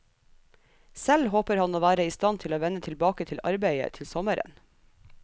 Selv håper han å være i stand til å vende tilbake til arbeidet til sommeren.